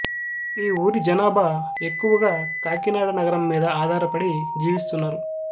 ఈ ఊరి జనాభా ఎక్కువగా కాకినాడ నగరం మీద ఆధారపడి జీవిస్తున్నారు